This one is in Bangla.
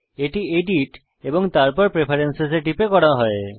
এটি এডিট এবং তারপর প্রেফারেন্স এ টিপে করা হয়